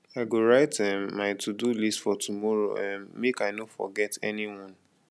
i go write um my todo list for tomorrow um make i no forget anyone